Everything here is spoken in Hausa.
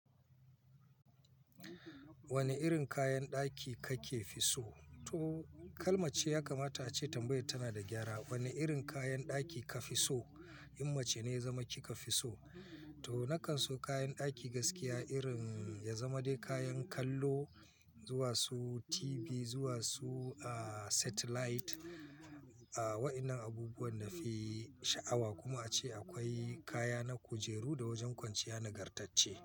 Wanne irin kayan ɗaki kake fi so? To kalmace ya kamata ace tambayar tana da gyara. Wane irin kayan ɗaki ka fi so? In wacce ne ya zama kika fi so. To na kan so kayan ɗaki gaskiya irin ya zama dai kayan kallo zuwa su TV, zuwa su satellite, waƴannan abubuwan na fi sha'awa. Kuma ace akwai kaya na kujeru da wajen kwanciya nagartacce.